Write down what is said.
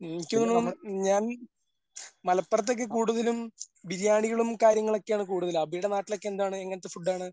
എനിക്ക് തോന്നണു ഞാൻ മലപ്പുറത്തേക്ക് കൂടുതലും ബിരിയാണികളും കാര്യങ്ങളൊക്കെയാണ് കൂടുതല് അഭിടെ നാട്ടിലൊക്കെ എന്താണ് എങ്ങനത്തെ ഫുഡാണ്?